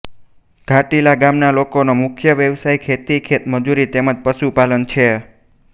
ઘાંટીલા ગામના લોકોનો મુખ્ય વ્યવસાય ખેતી ખેતમજૂરી તેમ જ પશુપાલન છે